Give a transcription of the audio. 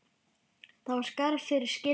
Það er skarð fyrir skildi.